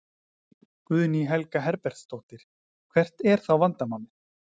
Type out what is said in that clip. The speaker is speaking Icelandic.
Guðný Helga Herbertsdóttir: Hvert er þá vandamálið?